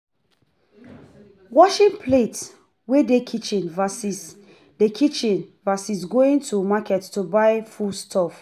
Washing plates wey dey kitchen vs dey kitchen vs going to market to buy food stuff